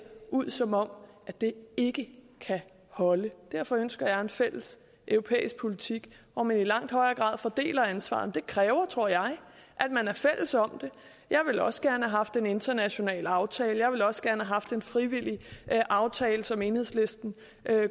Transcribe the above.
ud som om det ikke kan holde derfor ønsker jeg en fælles europæisk politik hvor man i langt højere grad fordeler ansvaret men det kræver tror jeg at man er fælles om det jeg ville også gerne have haft en international aftale jeg ville også gerne have haft en frivillig aftale som enhedslisten